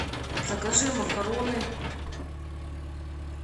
закажи макароны